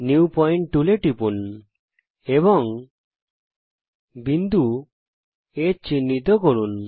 new point টুলে টিপুন এবং বিন্দু H কে চিহ্নিত করুন